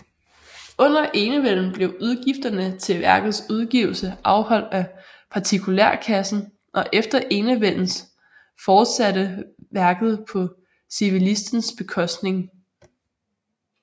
Under enevælden blev udgifterne til værkets udgivelse afholdt af partikulærkassen og efter enevældens fortsatte værket på civillistens bekostning